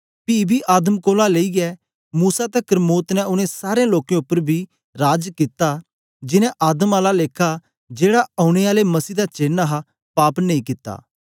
पी बी आदम कोलां लेईयै मूसा तकर मौत ने उनै सारें लोकें उपर बी राज कित्ता जीनें आदम आला लेखा जेड़ा औने आले मसीह दा चेन्न हा पाप नेई कित्ता